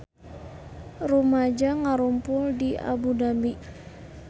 Rumaja ngarumpul di Abu Dhabi